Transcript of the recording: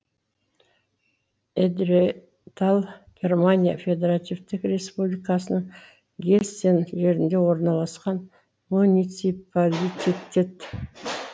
эдретал германия федеративтік республикасының гессен жерінде орналасқан муниципалититет